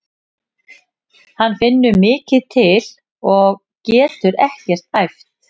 Hann finnur mikið til og getur ekkert æft.